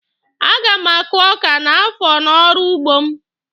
A ga m akụ ọ́kà n'afọ n'ọrụ ugbo m.